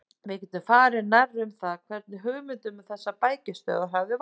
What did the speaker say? Við getum farið nærri um það, hvernig hugmyndin um þessar bækistöðvar hafði vaknað.